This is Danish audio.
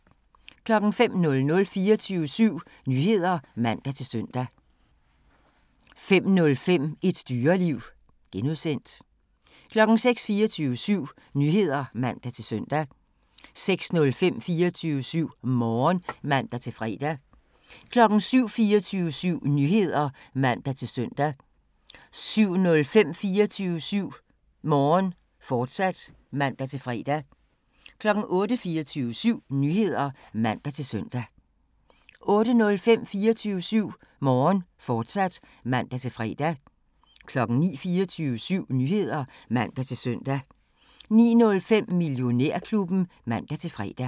05:00: 24syv Nyheder (man-søn) 05:05: Et Dyreliv (G) 06:00: 24syv Nyheder (man-søn) 06:05: 24syv Morgen (man-fre) 07:00: 24syv Nyheder (man-søn) 07:05: 24syv Morgen, fortsat (man-fre) 08:00: 24syv Nyheder (man-søn) 08:05: 24syv Morgen, fortsat (man-fre) 09:00: 24syv Nyheder (man-søn) 09:05: Millionærklubben (man-fre)